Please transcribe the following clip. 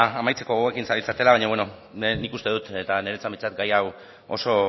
amaitzeko gogoekin zaudetela baina bueno nik uste dut eta niretzat behintzat gai hau oso